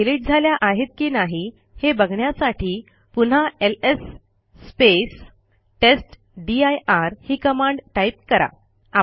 त्या डिलिट झाल्या आहेत की नाही हे बघण्यासाठी पुन्हा एलएस टेस्टदीर ही कमांड टाईप करा